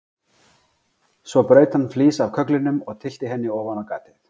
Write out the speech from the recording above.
Svo braut hann flís af kögglinum og tyllti henni ofan á gatið.